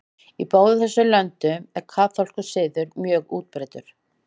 Í báðum þessum löndum er kaþólskur siður mjög útbreiddur.